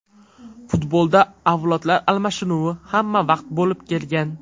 Futbolda avlodlar almashinuvi hamma vaqt bo‘lib kelgan.